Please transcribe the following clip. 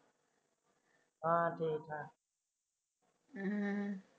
ਬਸ ਠੀਕਾ